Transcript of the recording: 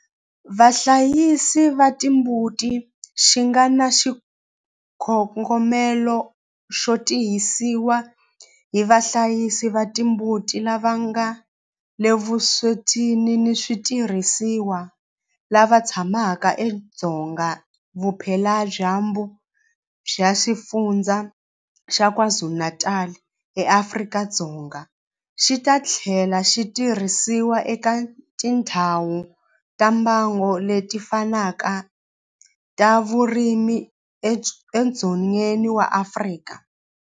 Vahlayisi va timbuti xi nga na xikongomelo xo tirhisiwa hi vahlayisi va timbuti lava nga le vuswetini hi switirhisiwa lava tshamaka edzonga vupeladyambu bya Xifundzha xa KwaZulu-Natal eAfrika-Dzonga, xi ta tlhela xi tirhisiwa eka tindhawu ta mbango leti fanaka ta vurimi edzongeni wa Afrika.